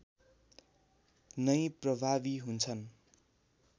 नै प्रभावी हुन्छन्